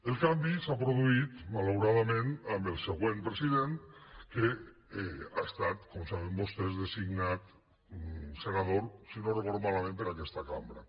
el canvi s’ha produït malauradament amb el següent president que ha estat com saben vostès designat senador si no ho recordo malament per aquesta cambra